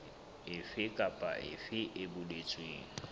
efe kapa efe e boletsweng